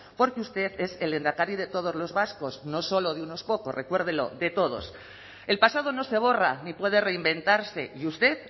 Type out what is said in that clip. porque usted es el lehendakari de todos los vascos no solo de unos pocos recuérdelo de todos el pasado no se borra ni puede reinventarse y usted